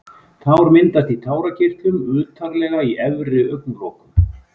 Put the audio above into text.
Tár myndast í tárakirtlum utarlega í efri augnlokunum.